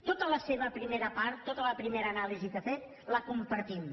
tota la seva primera part tota la primera anàlisi que vostè ha fet la compartim